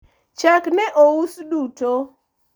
chak ne ous duto